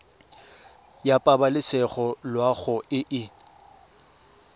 ya pabalesego loago e e